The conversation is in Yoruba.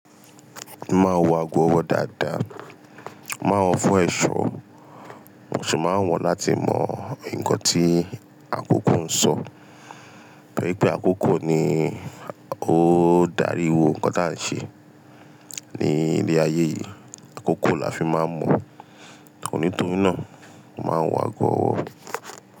Mo máa ń wọ̀ ago ọwọ́ dáadáa, mo má wọ̀ fún ẹ̀ṣọ́. Mo ṣì máa ń wọ́n láti mọ ǹkan tí àkókò ń sọ. Torí pé àkókò ni ó ń darí ohun kan tí a ń ṣe ní ilé ayé yìí. Àkókò la fi máa ń mọ. Nítorí náà, mo máa n wọ̀ ago ọwọ́